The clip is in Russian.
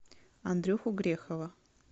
андрюху грехова